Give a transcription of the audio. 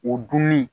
O dunni